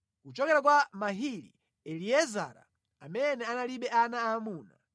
Kuchokera kwa Mahili: Eliezara, amene analibe ana aamuna.